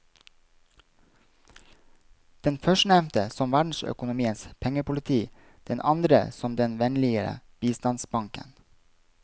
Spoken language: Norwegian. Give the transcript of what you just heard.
Den førstnevnte som verdensøkonomiens pengepoliti, den andre som den vennligere bistandsbanken.